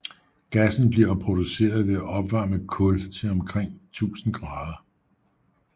Gassen bliver produceret ved at opvarme kul til omkring 1000 grader